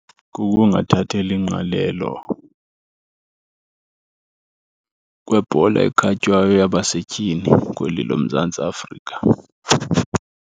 Kukungathatheli ingqalelo kwebhola ekhatywayo yabasetyhini kweli loMzantsi Afrika.